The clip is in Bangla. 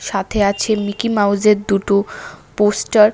সাথে আছে মিকি মাউসের দুটো পোস্টার ।